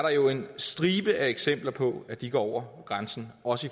en stribe eksempler på at de går over grænsen også